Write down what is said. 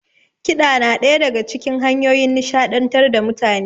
Kiɗa na ɗaya daga cikin hanyoyin nishaɗantar da mutane.